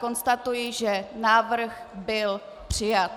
Konstatuji, že návrh byl přijat.